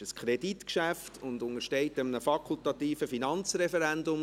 Es ist ein Kreditgeschäft und untersteht dem fakultativen Finanzreferendum.